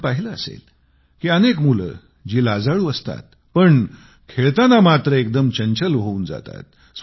आपण पाहिले असेल की अनेक मुले जी लाजाळू असतात ती खेळताना मात्र एकदम चंचल होऊन जातात